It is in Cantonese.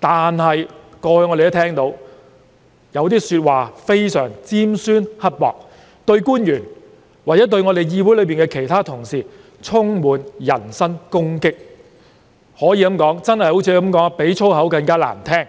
但我們聽到有些說法非常尖酸刻薄，對官員或議會其他同事充滿人身攻擊，可謂比粗口更難聽。